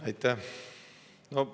Aitäh!